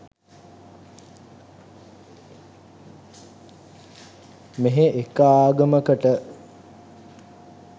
මෙහෙ එක ආගමකට